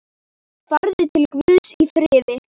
Farðu í Guðs friði.